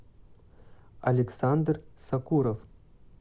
александр сакуров